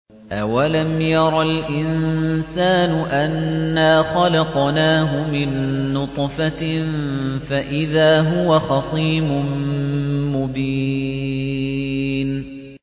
أَوَلَمْ يَرَ الْإِنسَانُ أَنَّا خَلَقْنَاهُ مِن نُّطْفَةٍ فَإِذَا هُوَ خَصِيمٌ مُّبِينٌ